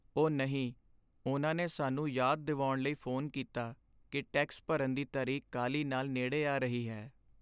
ਓਹ ਨਹੀਂ! ਉਨ੍ਹਾਂ ਨੇ ਸਾਨੂੰ ਯਾਦ ਦਿਵਾਉਣ ਲਈ ਫੋਨ ਕੀਤਾ ਕਿ ਟੈਕਸ ਭਰਨ ਦੀ ਤਰੀਕ ਕਾਹਲੀ ਨਾਲ ਨੇੜੇ ਆ ਰਹੀ ਹੈ।